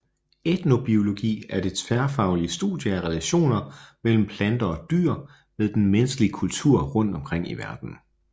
Etnobiologi er det tværfaglige studie af relationer mellem planter og dyr med den menneskelige kultur rundt omkring i verden